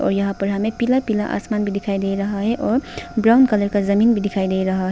और यहां पर हमें पीला पीला आसमान में दिखाई दे रहा है और ब्राउन कलर का जमीन भी दिखाई दे रहा है।